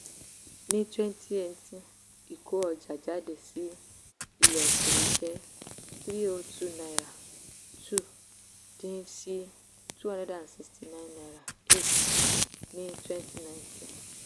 ní twenty eighteen ìkó ọjà jáde sí ilẹ̀ òkèèrè jẹ́ # three hundred two point two dín sí # two hundred sixty nine point eight ní twenty nineteen.